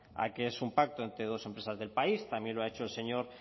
a que es un pacto entre dos empresas del país también lo ha hecho el señor